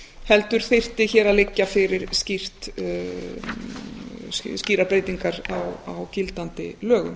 heldur þyrftu hér að liggja fyrir skýrar breytingar á gildandi lögum